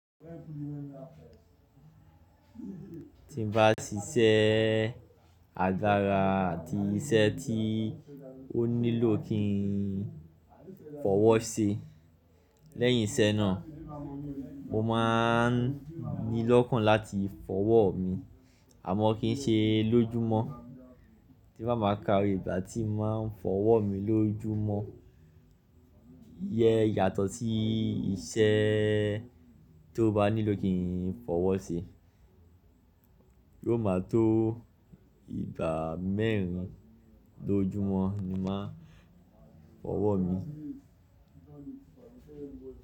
Tí n bá ti ṣẹ àgara àti iṣẹ́ tí ó nílò kí n fọwọ́ ṣe. Lẹ́yìn iṣẹ́ náà mo máa ń ní lọ́kàn láti fọwọ́ mi ámo kí í ṣe lójúmọ́. Tí bá máa ka ìgbà tí mo máa ń fọwọ́ mi lójúmọ́, yẹ́n yàtọ̀ sí iṣẹ́ tó bá nílò kí n fọwọ́ ṣe. Yóò máa tó ìgbà mẹ́rin lójúmọ́ ni máa ń fọwọ́ mi.